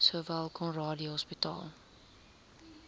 sowel conradie hospitaal